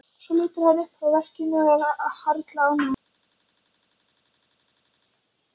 Svo lítur hann upp frá verkinu og er harla ánægður.